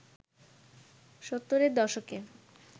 সত্তরের দশকে